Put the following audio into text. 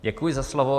Děkuji za slovo.